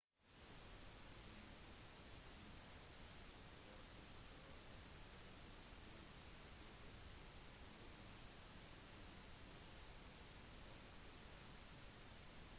innsatsen for å søke etter styrtstedet blir møtt av dårlig vær og tøft terreng